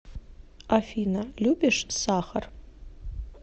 афина любишь сахар